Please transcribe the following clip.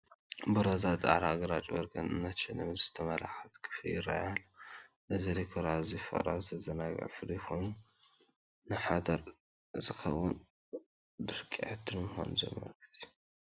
ብሮዛ፡ ጻዕዳ፡ ግራጭን ወርቅን ዝተሸለመትን ዝተመላኸዐትን ክፍሊ ይረአይ ኣሎ። እዚ ዲኮር ኣዝዩ ፍቕራዊ፡ ዘዘናግዕን ፍሉይን ኮይኑ፡ ንሓዳር ዝኸውን ድንቂ ዕድል ምዃኑ ዘመልክት እዩ።